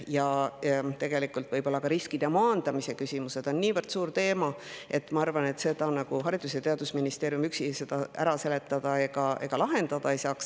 Ja tegelikult võib riskide maandamise küsimus olla niivõrd suur teema, et ma arvan, et Haridus- ja Teadusministeerium üksi seda ära seletada ega lahendada ei saaks.